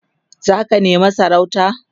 zaka nema sarauta?